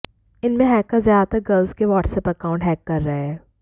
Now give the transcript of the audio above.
इनमें हैकर्स ज्यादातर गर्ल्स के वाट्सएप अकाउंट हैक कर रहे हैं